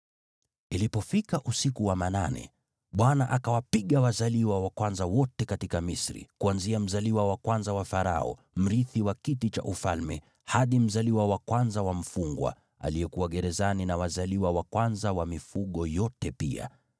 Ilipofika usiku wa manane, Bwana akawapiga wazaliwa wa kwanza wote katika Misri, kuanzia mzaliwa wa kwanza wa Farao, mrithi wa kiti cha ufalme, hadi mzaliwa wa kwanza wa mfungwa, aliyekuwa gerezani, na wazaliwa wa kwanza wa mifugo yote pia.